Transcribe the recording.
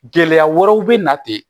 Gɛlɛya wɛrɛw bɛ na ten